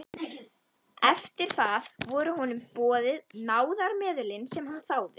Eftir það voru honum boðin náðarmeðulin sem hann þáði.